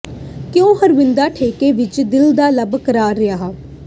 ਕਿਉਂ ਹਰਵਿੰਦਰਾ ਠੇਕੇ ਵਿੱਚ ਦਿਲ ਦਾ ਲੱਭ ਕਰਾਰ ਰਿਹਾ